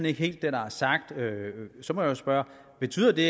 ikke helt det der er sagt så må jeg spørge betyder det